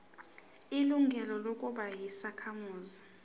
ilungelo lokuba yisakhamuzi